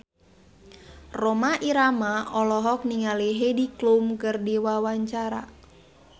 Rhoma Irama olohok ningali Heidi Klum keur diwawancara